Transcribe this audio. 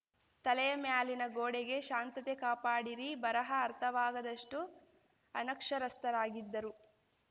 ತಲೆಯಮ್ಯಾಲಿನ ಗೋಡೆಗೆ ಶಾಂತತೆ ಕಾಪಾಡಿರಿ ಬರಹ ಅರ್ಥವಾಗದಷ್ಟುಅನಕ್ಷರಸ್ಥರಾಗಿದ್ದರು